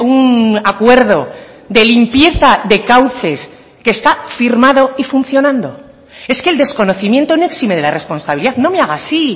un acuerdo de limpieza de cauces que está firmado y funcionando es que el desconocimiento no exime de la responsabilidad no me haga así